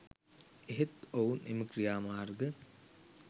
එහෙත් ඔවුන් එම ක්‍රියාමාර්ග